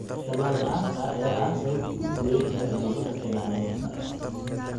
Tallaal la'aanta ayaa ah sababta ugu weyn ee cudurrada ku dhaca lo'da.